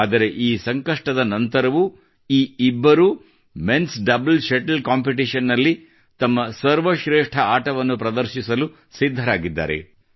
ಆದರೆ ಈ ಸಂಕಷ್ಟದ ನಂತರವೂ ಈ ಇಬ್ಬರೂ menಸ್ ಡಬಲ್ ಶಟಲ್ ಕಾಂಪಿಟಿಷನ್ ನಲ್ಲಿ ತಮ್ಮ ಸರ್ವಶ್ರೇಷ್ಠ ಾಟವನ್ನು ಪ್ರದರ್ಶಿಸಲು ಸಿದ್ಧರಾಗಿದ್ದಾರೆ